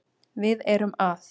Við erum að